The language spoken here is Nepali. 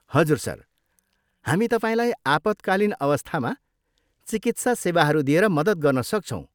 हजुर, सर। हामी तपाईँलाई आपतकालीन अवस्थामा चिकित्सा सेवाहरू दिएर मद्दत गर्न सक्छौँ।